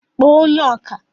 kpọọ onye ọkà!